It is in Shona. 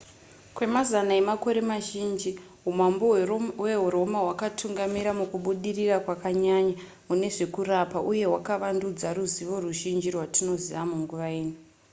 kwemazana emakore mazhinji humambo hweroma hwakatungamira mukubudirira kwakanyanya mune zvekurapa uye hwakavandudza ruzivo ruzhinji rwatinoziva munguva ino